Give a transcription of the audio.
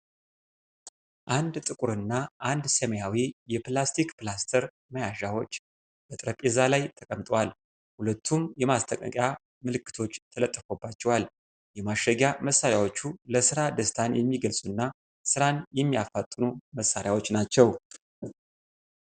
አንድ ጥቁርና አንድ ሰማያዊ የፕላስቲክ ፕላስተር መያዣዎች በጠረጴዛ ላይ ተቀምጠዋል። ሁለቱም የማስጠንቀቂያ ምልክቶች ተለጥፎባቸዋል። የማሸጊያ መሳሪያዎቹ ለሥራ ደስታን የሚገልጹና ስራን የሚያፋጥኑ መሳሪያዎች ናቸው።